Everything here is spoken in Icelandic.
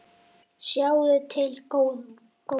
Sjáum til, góði.